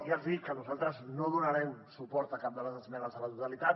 ja els hi dic que nosaltres no donarem suport a cap de les esmenes a la totalitat